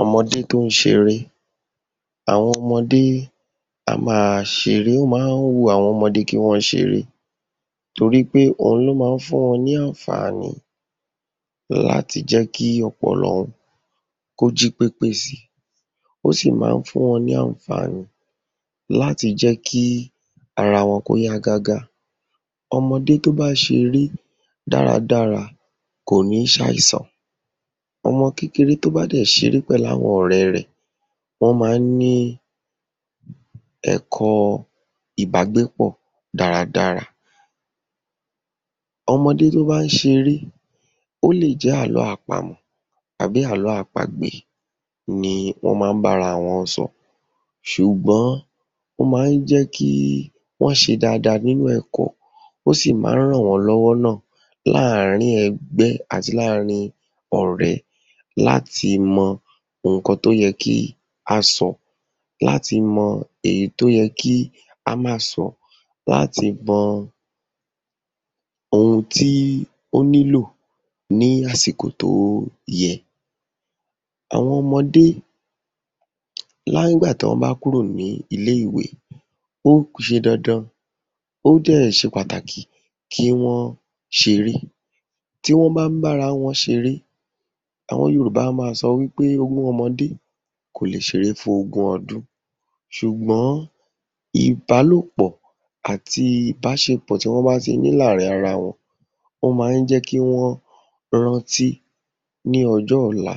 Ọmọdé tó ń ṣeré. Àwọn ọmọdé a máa ṣeré. Ó má ń wu àwọn ọmọdé kí wọ́n ṣeré torí pé òhun ló má ń fún wọ́n ní àǹfààní láti jẹ́ kí ọpọlọ wọn kó jí pépé sí i. Ó sì má ń fún wọn ní àǹfààní láti jẹ́ kí ara wọn kó yá gágá. Ọmọdé tó bá ṣeré dára dára kò ní ṣ’àìsàn. Ọmọ kékeré tó bá dẹ̀ ṣeré pèlú àwọn ọ̀rẹ rẹ̀, wọ́n má ń ní ẹ̀kọ́ọ ìbágbépọ̀ dára dára. Ọmọdé tó bá ń ṣeré, ó lè jẹ́ àlọ́ àpamọ̀ àbí àlọ́ àpagbè ni wọ́n má ń bára wọn sọ, ṣùgbọ́n ó má ń jẹ́ kí wọ́n ṣe dáadáa nínú ẹ̀kọ́, ó sì má ń ràn wọ́n lọ́wọ́ náà láàárín ẹgbẹ́ àti láàárín ọ̀rẹ̀ láti mọ nǹkan tó yẹ kí á sọ, láti mọ èyí tó yẹ kí á máá sọ, láti mọ ohun tí ó nílò ní àsìkò tó yẹ. Àwọn ọmọdé nígbà tí wọ́n bá kúrò ní ilé-ìwé, ó ṣe dandan ó dẹ̀ ṣe pàtàkì kí wón ṣeré. Tí wọ́n bá ń bára wọn ṣeré, àwọn Yorùbá á máa sọ wí pé ogún ọmọdé kò lè ṣeré fún ogún ọdún, ṣùgbọ́n ìbálòpọ̀ àti ìbáṣepọ̀ tí wọ́n bá ti ní láàárín ara wọn, ó má ń jẹ́ kí wọ́n rántí ní ọjọ́ òla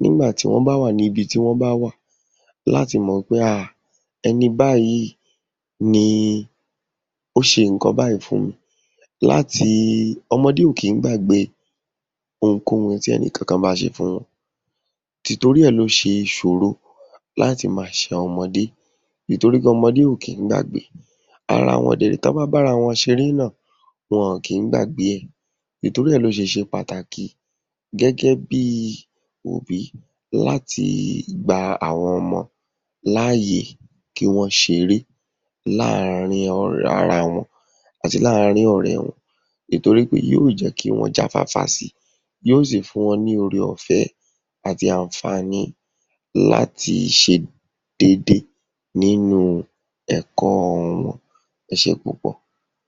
nígbà tí wọ́n bá wà níbi tí wọ́n bá wà láti mọ̀ pé um ẹni báyìí ni ó ṣe nǹkan báyìí fún mi láti, ọmọdé ò kí ń gbàgbé ohunkóhun tí èèyàn bá ṣe fún wọn, tìtorí ẹ̀ ló ṣe ṣòro láti máa ṣẹ àwọn ọmọdé nítorí ọmọdé ò kí ń gbàgbé. Ara wọn dẹ̀ réè, tán bá ń bára wọn ṣeré náà, wọn ọ̀n kí ń gbàgbé, nítorí ẹ̀ ló ṣe ṣe pàtàkì gẹ́gẹ́ bí i òbí láti gba àwọn ọmọ l’áàyè kí wọ́n ṣeré láàárín ara wọn àti láàárín ọ̀rẹ́ ìtorí pé ó jẹ́ kí wọ́n jáfáfá sí i, yóó sì fún wọn ní ore ọ̀fé àti àǹfààní láti ṣe déédé nínú ẹ̀kọ́ wọn. Ẹ ṣé púpọ̀.